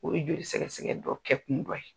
O ye joli sɛgɛsɛgɛ dɔ kɛ kun dɔ ye.